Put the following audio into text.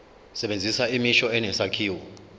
sebenzisa imisho enesakhiwo